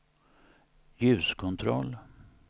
ljuskontroll